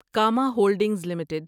Cama Holdings limited